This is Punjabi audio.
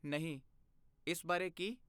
ਨਹੀਂ, ਇਸ ਬਾਰੇ ਕੀ?